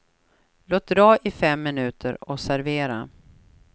Låt dra i fem minuter och servera.